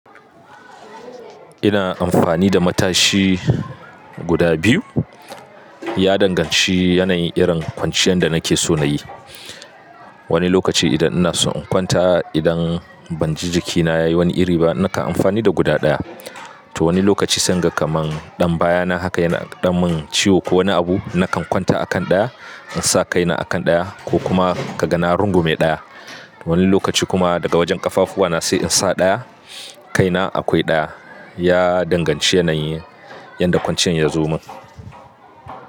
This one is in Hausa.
Ina amfani da matashi guda biyu ya danganci yanayin irin kwanciyar da nake so na yi. Wani lokaci idan ina son in kwanta, idan ban ji jikina yayi wani iri ba, nakan amfani da guda ɗaya. To wani lokaci sai in ga kaman ɗan baya na haka yana ɗan min ciwo ko wani abu, na kan kwanta a kan ɗaya in sa kaina a kan ɗaya ko kuma ka ga na rungume ɗaya. Wani lokaci kuma daga wajen ƙafafuwana sai in sa ɗaya, kaina akwai ɗaya. Ya danganci yanayi yadda kwanciyar ya zo min.